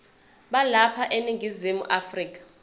balapha eningizimu afrika